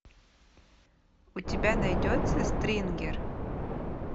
у тебя найдется стрингер